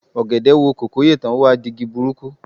Ọ̀gẹ̀dẹ̀ wo kòkó yè tán, ó wá di igi burúkú